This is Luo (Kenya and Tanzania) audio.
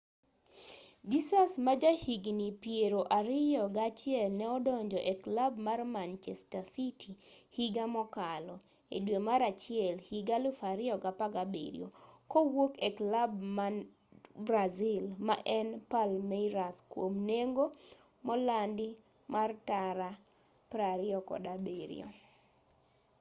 jesus majahigni piero ariyo ga achiel ne odonjo eklab mar manchester city higa mokalo e dwe mar achiel higa 2017 kowuok eklab man brazil maen palmeiras kuom nengo molandi mar tara £27